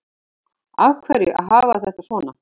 Af hverju að hafa þetta svona